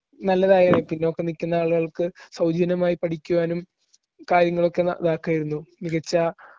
നല്ലതായേനെ. പിന്നോക്കം നിക്കുന്ന ആളുകൾക്ക് സൗജന്യമായി പഠിക്കുവാനും കാര്യങ്ങളൊക്കെ ഇതാക്കാരുന്നു. മികച്ച